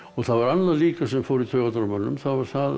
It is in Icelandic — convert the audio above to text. það var annað líka sem fór í taugarnar á mönnum það var það að